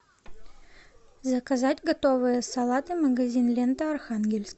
заказать готовые салаты магазин лента архангельск